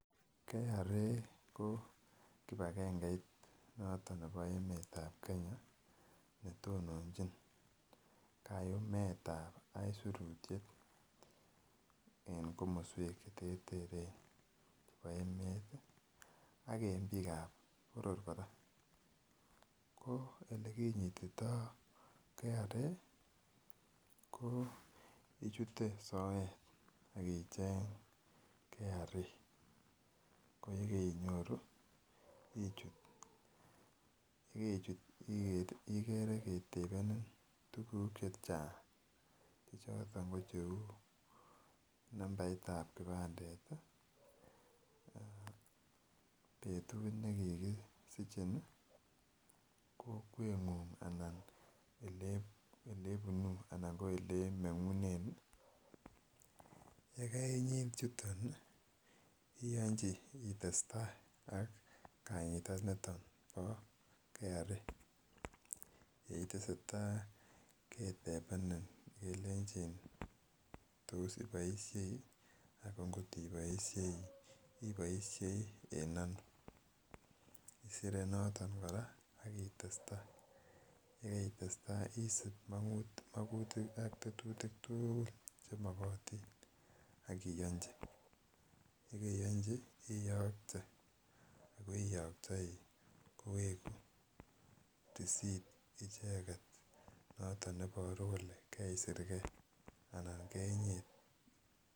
Kenya Revenue Authority ko kibagengeit noton nebo emeet ab Kenya netononchin kayumet ab aisurutiet en komoswek cheterteren chebo emet ih ak en biik ab boror kora, ko elekinyitito Kenya Revenue Authority ko ichuten soet ak icheng Kenya Revenue Authority ko yekeinyoru ichut yekeichut ikere ketebenin tuguk chechang chechoton ko cheu nambait ab kipandet ih, betut ne kikisichin ih, kokwet ng'ung anan elebunuu anan ko elemeng'unen ih yekeinyit chuton ih iyonji itesetai ak kanyitat niton bo Kenya Revenue Authority yeitesetai ketebenin kelenchin iboisie ako ngot iboisie iboisie en ano, isire noton kora ak itesetai yekeitestai isip mokutik ak tetutik tugul chemokotin ak iyonji yekeyonji iyokte ako iyoktoi koweku risit icheket noton neboru kole keisirgee ana kenyit